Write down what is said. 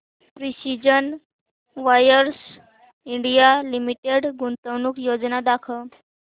precision wires India limited गुंतवणूक योजना दाखव